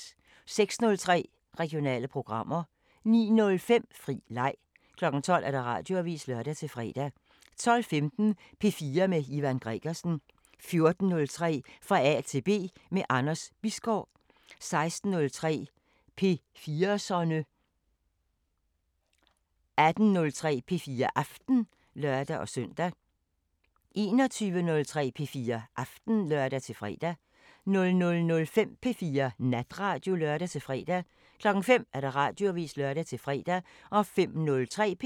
06:03: Regionale programmer 09:05: Fri leg 12:00: Radioavisen (lør-fre) 12:15: P4 med Ivan Gregersen 14:03: Fra A til B – med Anders Bisgaard 16:03: P4'serne 18:03: P4 Aften (lør-søn) 21:03: P4 Aften (lør-fre) 00:05: P4 Natradio (lør-fre) 05:00: Radioavisen (lør-fre)